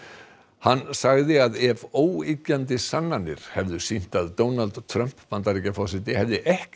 hann sagði ef óyggjandi sannanir hefðu sýnt að Donald Trump Bandaríkjaforseti hefði ekki